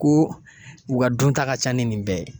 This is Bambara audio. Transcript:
Ko u ka dunta ka ca ni nin bɛɛ ye.